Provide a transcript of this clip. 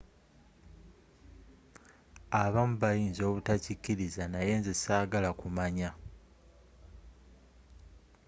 abamu bayinza obutakiriza naye nze sagala kumanya